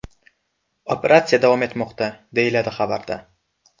Operatsiya davom etmoqda”, deyiladi xabarda.